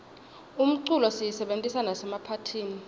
umculo siyisebentisa nasemaphathini